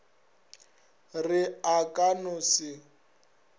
re a ka no se